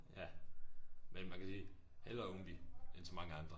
Ja men man kan sige hellere umbi end så mange andre